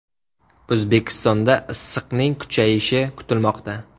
O‘zbekistonda issiqning kuchayishi kutilmoqda.